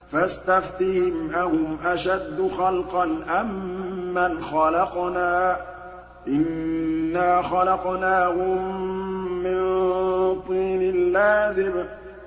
فَاسْتَفْتِهِمْ أَهُمْ أَشَدُّ خَلْقًا أَم مَّنْ خَلَقْنَا ۚ إِنَّا خَلَقْنَاهُم مِّن طِينٍ لَّازِبٍ